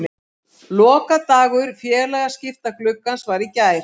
Lokadagur félagaskiptagluggans var í gær.